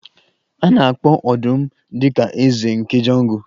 A na-akpọ ọdụm dị ka eze nke Jungle